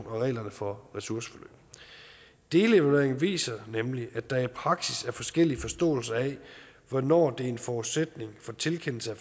og reglerne for ressourceforløb delevalueringen viser nemlig at der i praksis er forskellige forståelser af hvornår det er en forudsætning for tilkendelse af